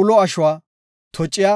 ulo ashuwa, tociya,